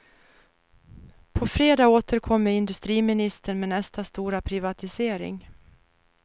På fredag återkommer industriministern med nästa stora privatisering.